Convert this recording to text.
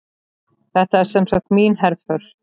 Þetta er semsagt mín herför.